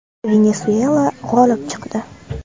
Venesuela g‘olib chiqdi.